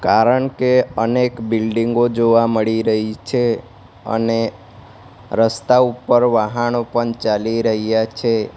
કારણ કે અનેક બિલ્ડીંગો જોવા મળી રહી છે અને રસ્તા ઉપર વાહાણો પણ ચાલી રહ્યા છે.